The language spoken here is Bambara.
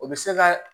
O bɛ se ka